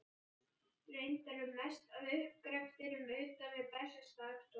Reyndar er mest af uppgreftrinum utan við Bessastaðastofu.